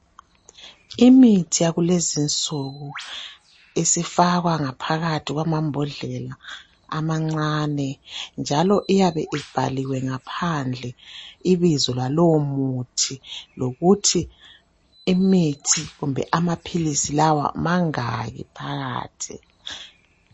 Imithi yakulezinsuku isifakwa ngaphakathi kwamambodlela amancane. Njalo iyabe ibhaliwe ngaphandle ibizo lalowomuthi. Lokuthi imithi kumbe amaphilisi lawa mangaki phakathi.